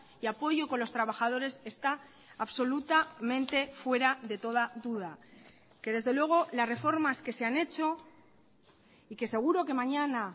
y apoyo con los trabajadores está absolutamente fuera de toda duda que desde luego las reformas que se han hecho y que seguro que mañana